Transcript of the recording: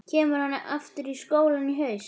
Kemur hann aftur í skólann í haust?